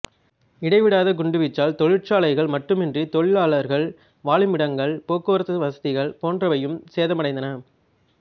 இடைவிடாத குண்டுவீச்சால் தொழிற்சாலைகள் மட்டுமின்றி தொழிலாளர்கள் வாழுமிடங்கள் போக்குவரத்து வசதிகள் போன்றவையும் சேதமடைந்தன